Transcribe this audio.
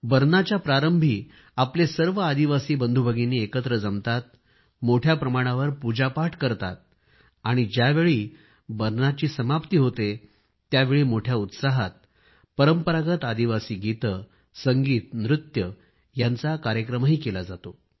बरनाच्या प्रारंभी आपले सर्व आदिवासी बंधूभगिनी एकत्र जमतात मोठ्या प्रमाणावर पूजापाठ करतात आणि ज्यावेळी बरना समाप्ती होते त्यावेळी मोठ्या उत्साहात परंपरागत आदिवासी गीत संगीत नृत्य यांचा कार्यक्रम करतात